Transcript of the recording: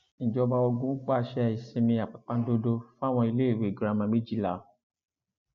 ìjọba ogun pàṣẹ ìsinmi àpàpàǹdodo fáwọn iléèwé girama méjìlá